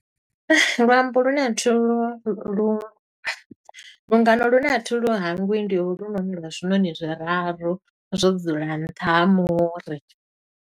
Luambo lune a thi lu, lu. Lungano lune a thi lu hangwi, ndi holunoni lwa zwinoṋi zwiraru zwo dzula nṱha ha muri.